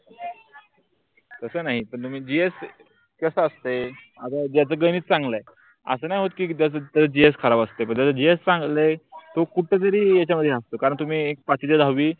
तस नाही पण GS कस असते. ज्याच गणित चांगल आहे. अस नाही होत कि दस GS खराब असते GS चांगले तो कुठेतरी याच्या मध्ये हसतो कारण तुम्ही पाचीजात हवी